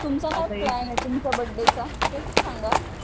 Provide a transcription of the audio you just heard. तुमचा काय प्लॅने तुमचा बर्थडे चा ते तर सांगा.